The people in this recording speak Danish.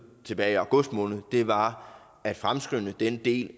tilbage i august måned var at fremskynde den del